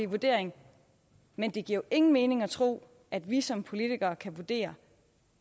vurdering men det giver ingen mening at tro at vi som politikere kan vurdere